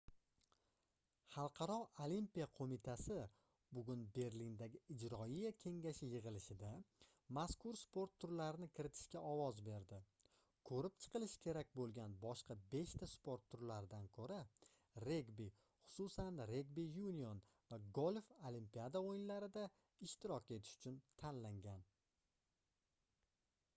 xalqaro olimpiya qoʻmitasi bugun berlindagi ijroiya kengashi yigʻilishida mazkur sport turlarini kiritishga ovoz berdi koʻrib chiqilishi kerak boʻlgan boshqa beshta sport turlaridan koʻra regbi xususan regbi yunion va golf olimpiada oʻyinlarida ishtirok etish uchun tanlangan